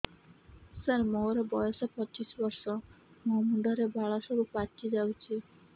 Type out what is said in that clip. ସାର ମୋର ବୟସ ପଚିଶି ବର୍ଷ ମୋ ମୁଣ୍ଡରେ ବାଳ ସବୁ ପାଚି ଯାଉଛି